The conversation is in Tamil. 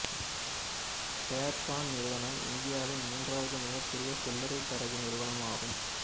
சேர் கான் நிறுவனம் இந்தியாவின் மூன்றாவது மிகப்பெரிய சில்லறை தரகு நிறுவனம் ஆகும்